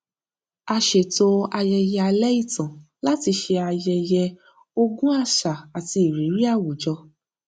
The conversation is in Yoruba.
a ṣetò ayẹyẹ alẹ ìtàn láti ṣe ayẹyẹ ogún àṣà àti ìrírí àwùjọ